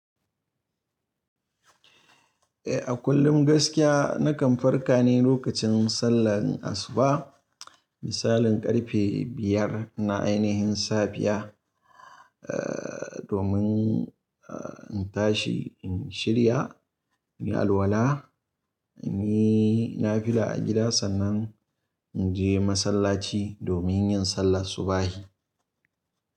Eh a kullum gaskiya nakan farka ne lokacin sallar asuba, misalin karfe biyar na ainihin safiya. Eh domin in tashi in shirya, inyi alwala, inyi nafila a gida sannan inje masallaci domin yin sallar subahi.